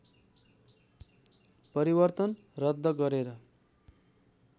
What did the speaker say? परिवर्तन रद्द गरेर